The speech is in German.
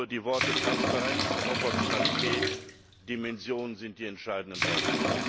Die Worte Transparenz, Proportionalität, Dimension sind die entscheidenden Worte.